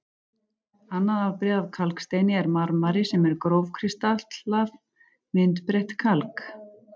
Annað afbrigði af kalksteini er marmari sem er grófkristallað, myndbreytt kalk.